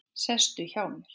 Sestu hjá mér.